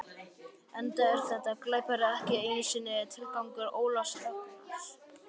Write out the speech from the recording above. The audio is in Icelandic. Enda er þetta glapræði ekki einu sinni tilgangur Ólafs Ragnars.